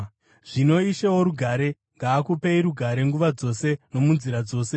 Zvino Ishe worugare ngaakupei rugare nguva dzose nomunzira dzose.